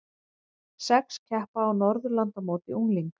Sex keppa á Norðurlandamóti unglinga